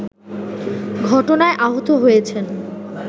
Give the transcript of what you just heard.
ঘটনায় আহত হয়েছেন